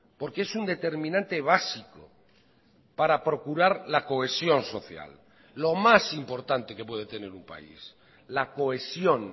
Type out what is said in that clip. porque es un determinante básico para procurar la cohesión social lo más importante que puede tener un país la cohesión